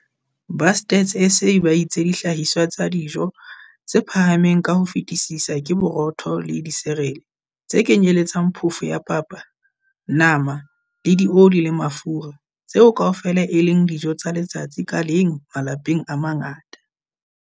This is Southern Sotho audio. Ba Stats SA ba itse dihlahiswa tsa dijo tse phahameng ka ho fetisisa ke borotho le disirele, tse kenyeletsang phofo ya papa, nama le dioli le mafura - tseo kaofela e leng dijo tsa letsatsi ka leng malapeng a mangata.